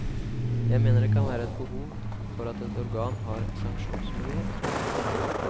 Jeg mener at det kan være et behov for at et organ har sanksjonsmulighet.